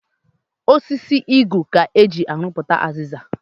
Osisi Igu ka eji arụputa aziza